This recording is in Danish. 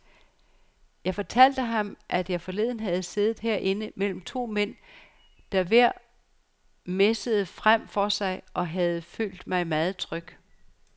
Jeg fortalte ham, at jeg forleden havde siddet herinde mellem to mænd, der hver messede frem for sig, og havde følt mig meget tryg.